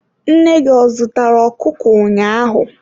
Nne gị ọ zụtara okụkụ ụnyaahụ?